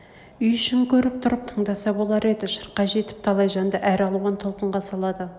үй ішін көріп тұрып тыңдаса болар еді шырқай жетіп талай жанды әр алуан толқынға салады